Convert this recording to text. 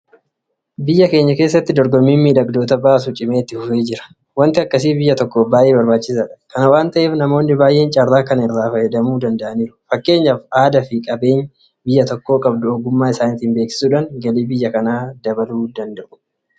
Biyya keenya keessatti dorgommiin miidhagdoota baasuu cimee itti fufaa jira. Waanti akkasii biyya tokkoof baay'ee barbaachisaadha. Kana waanta ta'eef namoonni baay'een carraa kana irraa fayyadamuu danda'aniiru. Fakkeenyaaf aadaafi qabeenya biyyi tokko qabdu ogummaa isaaniitiin beeksisuudhaan galii biyya kanaa dabaluu danda'u.